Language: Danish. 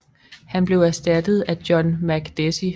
Han blev erstattet af John Makdessi